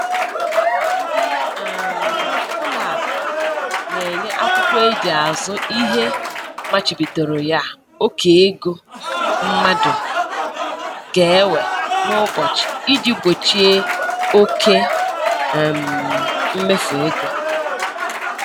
Ndị um ụlọ akụ na-enye akwụkwọ e ji azụ ihe machibidoro ya oke ego mmadụ ga-ewe n'ụbọchị iji gbochie oke um mmefu ego